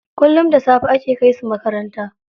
Kullum da safe ake kai su makaranta.